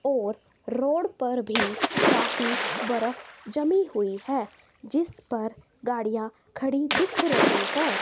और रोड पर भी काफी बर्फ जमी हुई है जिस पर गाड़िया खड़ी दिख रही है।